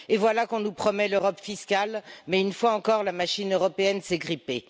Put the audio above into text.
Et voilà qu'on nous promet l'Europe fiscale mais, une fois encore, la machine européenne s'est grippée.